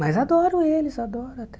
Mas adoro eles, adoro até.